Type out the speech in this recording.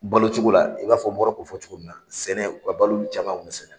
Balo cogo la i b'a n bɔra k'o fɔ cogo min na sɛnɛ u ka balo caman sɛnɛ.